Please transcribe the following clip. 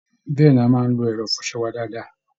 Bẹ́ẹ̀ ni, a máa ń lo ẹ̀rọ ìfọṣọ wa dáadáa